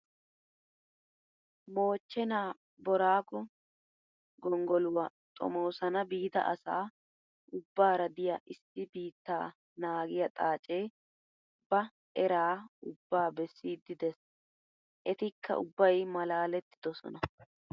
Moochchenaa booraago gonggoluwaa xoomoosana biida asaa ubbaara diyaa issi biittaa naagiyaa xaacee ba eraa ubbaa beessiiddi des. Etikka ubbayi malaalettidosona.